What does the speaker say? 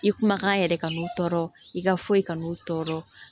I kumakan yɛrɛ kanu tɔɔrɔ i ka foyi kanu tɔɔrɔ